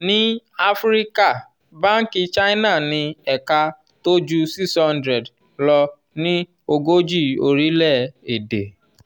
ní áfíríkà banki china ní ẹ̀ka tó ju 600 lọ ní ogójì orílẹ̀-èdè.